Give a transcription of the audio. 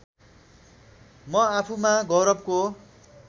म आफूमा गौरवको